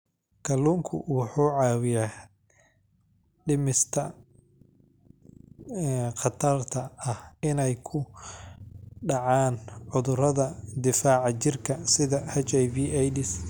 Kalluunku wuxuu caawiyaa dhimista khatarta ah inay ku dhacaan cudurrada difaaca jirka sida HIV/AIDS.